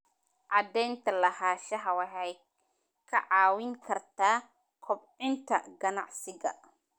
Cadaynta lahaanshaha waxay kaa caawin kartaa kobcinta ganacsiga.